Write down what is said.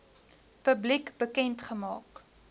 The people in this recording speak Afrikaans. publiek bekend gemaak